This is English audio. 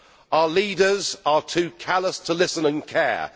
Our leaders are too callous to listen and care.